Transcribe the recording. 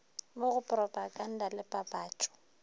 mo go propaganda le papatpo